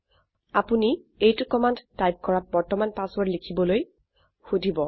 আপোনি এইটি command type কৰাত বৰ্তমান পাছৱৰ্ৰদ লিখিবলৈ সোধিব